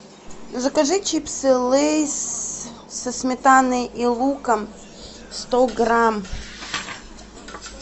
закажи чипсы лейс со сметаной и луком сто грамм